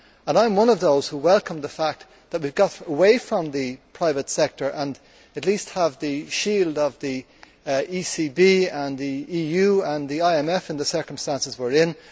I am one of those who welcome the fact that we got away from the private sector and, at least, we have the shield of the ECB, the EU and the IMF in the circumstances we are in.